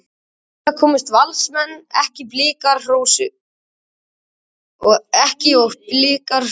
Lengra komust Valsmenn ekki og Blikar hrósuðu sigri.